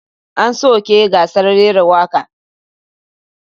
An soke gasar rera waka.